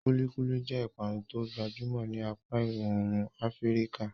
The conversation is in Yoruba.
Kulikuli jẹ́ ìpanu tó gbajúmọ̀ ní apá ìwọ̀ oòrùn Afíríkà.